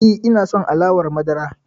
E, ina son alawar madara.